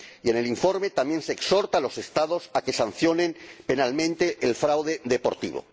En el informe también se exhorta a los Estados a que sancionen penalmente el fraude deportivo.